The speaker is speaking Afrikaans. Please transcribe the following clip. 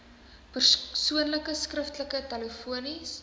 persoonlik skriftelik telefonies